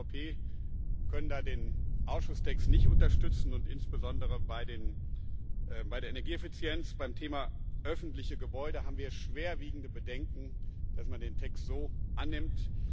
Wir als EVP können da den Ausschusstext nicht unterstützen, und insbesondere bei der Energieeffizienz, beim Thema öffentliche Gebäude haben wir schwerwiegende Bedenken, dass man den Text so annimmt.